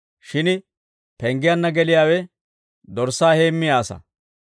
Shin penggiyanna geliyaawe dorssaa heemmiyaa asaa.